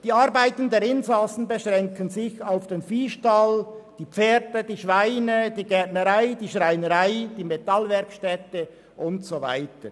Die Arbeiten der Insassen beschränken sich auf den Viehstall, die Pferde, die Schweine, die Gärtnerei, die Schreinerei, die Metallwerkstätte und so weiter.